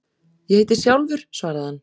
Ég heiti Sjálfur, svaraði hann.